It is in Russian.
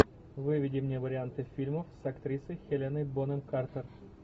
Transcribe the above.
выведи мне варианты фильмов с актрисой хеленой бонем картер